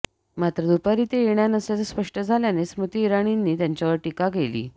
मात्र दुपारी ते येणार नसल्याचं स्पष्ट झाल्याने स्मृती इराणींनी त्यांच्यावर टीका केली